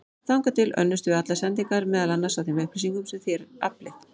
Þangað til önnumst við allar sendingar, meðal annars á þeim upplýsingum sem þér aflið.